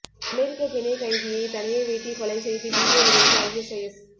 அமெரிக்க பிணை கைதியை தலையை வெட்டி கொலை செய்து வீடியோ வெளியிட்ட ஐஎஸ்ஐஎஸ்